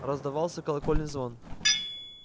раздавался колокольный звон